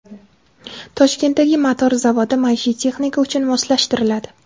Toshkentdagi motor zavodi maishiy texnika uchun moslashtiriladi.